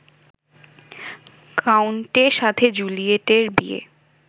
কাউন্টের সাথে জুলিয়েটের বিয়ে